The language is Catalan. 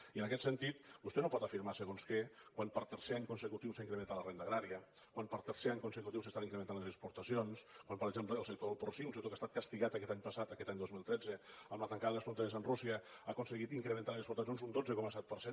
i en aquest sentit vostè no pot afirmar segons què quan per tercer any consecutiu s’ha incrementat la renda agrària quan per tercer any consecutiu s’estan incrementant les exportacions quan per exemple el sector del porcí un sector que ha estat castigat aquest any passat aquest any dos mil tretze amb la tancada de les fronteres amb rússia ha aconseguit incrementar les exportacions un dotze coma set per cent